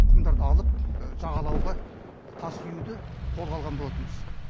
құмдарды алып жағалауға тас үюді қолға алған болатынбыз